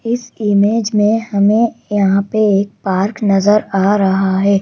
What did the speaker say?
इस इमेज में हमें यहां पे एक पार्क नजर आ रहा है।